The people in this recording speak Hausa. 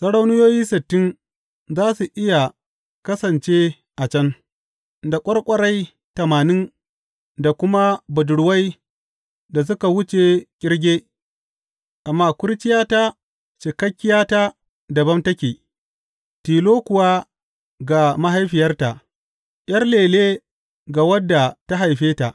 Sarauniyoyi sittin za su iya kasance a can, da ƙwarƙwarai tamanin da kuma budurwai da suka wuce ƙirge; amma kurciyata, cikakkiyata, dabam take, tilo kuwa ga mahaifiyarta, ’yar lele ga wadda ta haife ta.